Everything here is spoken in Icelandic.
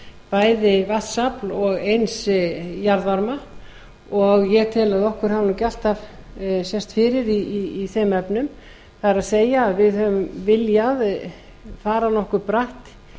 bæði vatnsafl og eins jarðvarma og ég tel að okkur hafi ekki alltaf sést fyrir í þeim efnum það er við höfum viljað fara nokkuð bratt